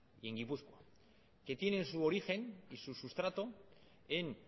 y en gipuzkoa que tienen su origen y su sustrato en